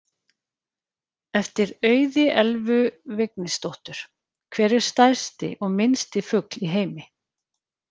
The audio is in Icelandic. Eftir Auði Elvu Vignisdóttur: Hver er stærsti og minnsti fugl í heimi?